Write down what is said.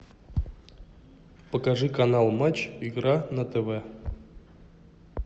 покажи канал матч игра на тв